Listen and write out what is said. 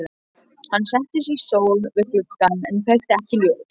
Hann settist í stól við gluggann en kveikti ekki ljós.